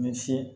Misi